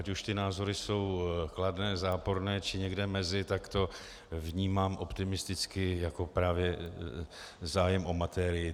Ať už ty názory jsou kladné, záporné, či někde mezi, tak to vnímám optimisticky jako právě zájem o materii.